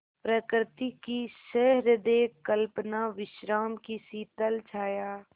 प्रकृति की सहृदय कल्पना विश्राम की शीतल छाया